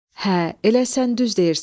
Hə, elə sən düz deyirsən.